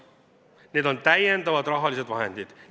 Need on täiendavad rahalised vahendid.